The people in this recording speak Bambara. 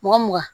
Mugan mugan